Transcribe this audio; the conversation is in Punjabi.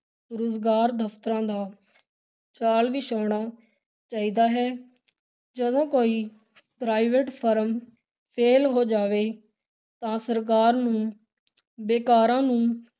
ਰੁਜ਼ਗਾਰ ਦਫ਼ਤਰਾਂ ਦਾ ਜਾਲ ਵਿਛਾਉਣਾ ਚਾਹੀਦਾ ਹੈ, ਜਦੋਂ ਕੋਈ private firm fail ਹੋ ਜਾਵੇ, ਤਾਂ ਸਰਕਾਰ ਨੂੰ ਬੇਕਾਰਾਂ ਨੂੰ